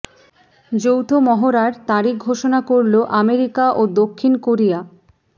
যৌথ মহড়ার তারিখ ঘোষণা করল আমেরিকা ও দক্ষিণ কোরিয়া